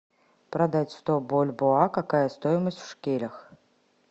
продать сто бальбоа какая стоимость в шекелях